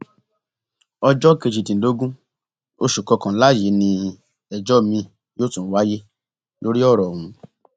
ọjọ kejìdínlógún oṣù kọkànlá yìí ni ẹjọ miín yóò tún wáyé lórí ọrọ ọhún